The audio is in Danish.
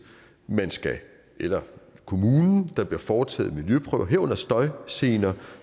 eller kommunen og der bliver foretaget miljøprøver herunder af støjgener